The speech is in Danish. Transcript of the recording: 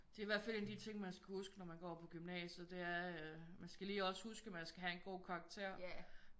Det er i hvert fald en af de ting man skal huske når man går på gymnasiet det er øh man skal lige også huske man skal have en god karakter